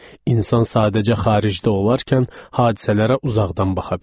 İnsan sadəcə xaricdə olarkən hadisələrə uzaqdan baxa bilir.